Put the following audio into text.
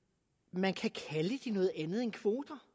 man kan kalde det noget andet end kvoter